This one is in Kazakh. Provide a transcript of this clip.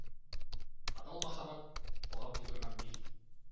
адал махаббат қоғам тудырған миф